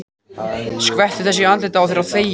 Skvettu þessu í andlitið á þér og þegiðu.